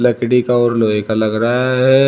लकड़ी का और लोहे का लग रहा है।